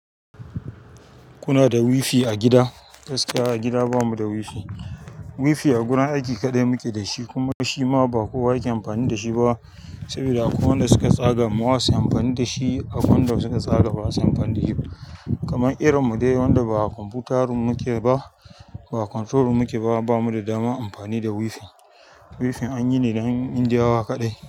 Kuna da WiFi a gida. Gaskiya a gida ba mu da wifi. Wifi a gurin aiki kaɗai muke da shi kuma shi ma ba kowa yake amfani da shi ba sabida akwai wanda suka tsagawa masu amfani da shi, abunda suka tsarawa masu amfani da shi ba. Kaman irin mu dai wanda ba kwamfutar room muke ba, ba computer room muke ba ba mu dama amfani da WiFi WiFi anyi ne don Indiyawa kaɗai.